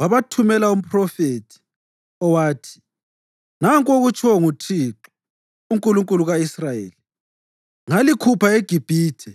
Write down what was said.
wabathumela umphrofethi, owathi, “Nanku okutshiwo nguThixo, uNkulunkulu ka-Israyeli: Ngalikhupha eGibhithe,